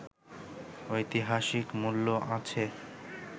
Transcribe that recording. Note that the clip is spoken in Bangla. ঐতিহাসিক মূল্য আছে